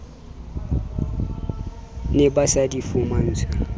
ne ba sa di fumantshwe